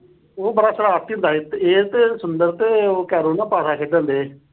ਉਹ ਬੜਾ ਸ਼ਰਾਰਤੀ ਹੁੰਦਾ ਸੀ ਤੇ ਇਹ ਤੇ ਸੁੰਦਰ ਤੇ ਉਹ ਕੈਰੋਂ ਨਾ ਅਹ ਇਹ ਦੋਨੋਂ ਪਾਸਾ ਖੇਡਣ ਡਏ।